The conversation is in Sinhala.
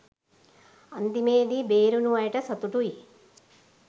අන්තිමේදී බේරුනු අයට සතුටුයි